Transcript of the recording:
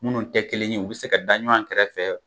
Munnu te kelen ye u be se ka da ɲɔan kɛrɛfɛ